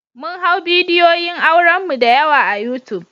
Mun hau bidiyoyin auren mu da yawa a yutub.